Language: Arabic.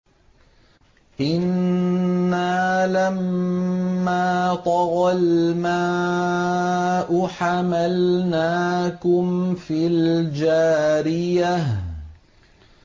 إِنَّا لَمَّا طَغَى الْمَاءُ حَمَلْنَاكُمْ فِي الْجَارِيَةِ